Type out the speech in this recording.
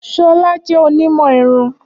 Ṣọla jẹ onimọ irun.